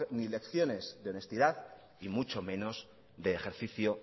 ni lecciones de honestidad y mucho menos de ejercicio